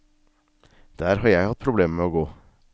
Der har jeg hatt problemer med å gå.